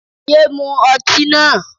Yéé mu ọtí náà.